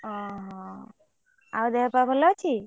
ଓହୋ ଆଉ ଦେହ ପା ଭଲ ଅଛି?